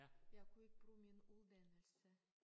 Jeg kunne ikke bruge min uddannelse